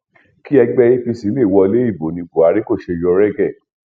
kí ẹgbẹ apc lè wọlé ìbò ní buhari kó ṣe yọ regey